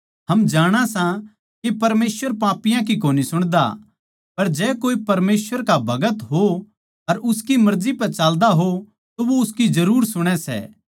हम जाणां सां के परमेसवर पापियाँ की कोनी सुणदा पर जै कोए परमेसवर का भगत हो अर उसकी मर्जी पै चाल्दा हो तो वो उसकी जरुर सुणै सै